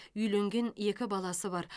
үйленген екі баласы бар